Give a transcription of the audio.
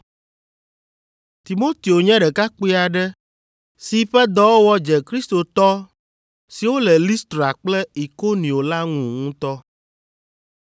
Timoteo nye ɖekakpui aɖe si ƒe dɔwɔwɔ dze kristotɔ siwo le Listra kple Ikonio la ŋu ŋutɔ.